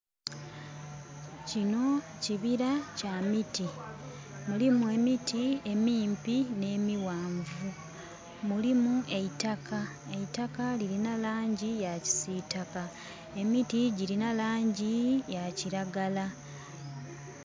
Kino kibira kya miti. Mulimu emiti emimpi ne miwanvu. Mulimu eitakka, eitakka lirina langi ya kisitaka, emiti girina langi ya kiragala